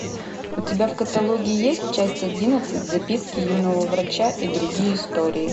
у тебя в каталоге есть часть одиннадцать записки юного врача и другие истории